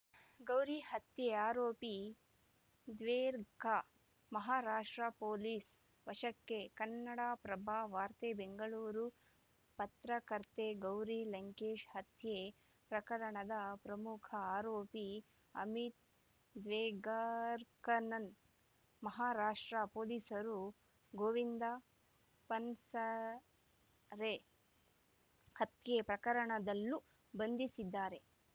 ಗೌರಿ ಹತ್ಯೆ ಆರೋಪಿ ದ್ವೇರ್ಗ ಮಹಾರಾಷ್ಟ್ರ ಪೊಲೀಸ್‌ ವಶಕ್ಕೆ ಕನ್ನಡಪ್ರಭ ವಾರ್ತೆ ಬೆಂಗಳೂರು ಪತ್ರಕರ್ತೆ ಗೌರಿ ಲಂಕೇಶ್‌ ಹತ್ಯೆ ಪ್ರಕರಣದ ಪ್ರಮುಖ ಆರೋಪಿ ಅಮಿತ್‌ ದ್ವೇಗರ್ ಕಣ್ಣನ್ ಮಹಾರಾಷ್ಟ್ರ ಪೊಲೀಸರು ಗೋವಿಂದ ಪನ್ಸರೆ ಹತ್ಯೆ ಪ್ರಕರಣದಲ್ಲೂ ಬಂಧಿಸಿದ್ದಾರೆ